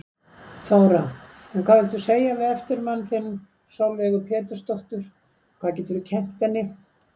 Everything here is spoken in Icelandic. Þóra: En hvað viltu segja við eftirmann þinn, Sólveigu Pétursdóttur, hvað geturðu kennt henni?